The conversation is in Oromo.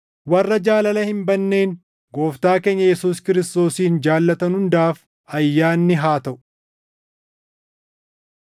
Warra jaalala hin badneen Gooftaa keenya Yesuus Kiristoosin jaallatan hundaaf ayyaanni haa taʼu.